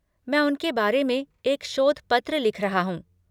मैं उनके बारे में एक शोध पत्र लिख रहा हूँ।